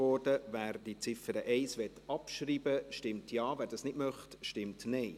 Wer die Ziffer 1 abschreiben will, stimmt Ja, wer dies nicht möchte, stimmt Nein.